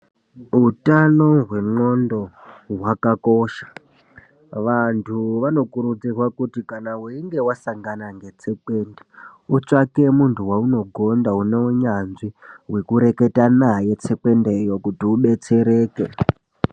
Utano hwendxondo hwakakosha. Vantu vanokurudzirwe kuti kana weinge wasangana netsekwende, wotsvake muntu weunogonda une unyanzvi hwekureketa naye tsekwendeyo kuti udetsereke.